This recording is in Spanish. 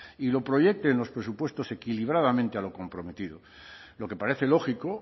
y lo proyecte en los presupuestos equilibradamente a lo comprometido lo que parece lógico